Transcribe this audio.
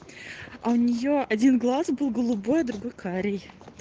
а у нее один глаз был голубой другой карий